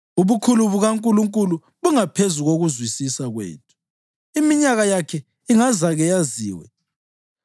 Ubukhulu bukaNkulunkulu bungaphezulu kokuzwisisa kwethu! Iminyaka yakhe ingezake yaziwe.